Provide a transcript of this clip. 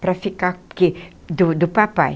para ficar que do do papai.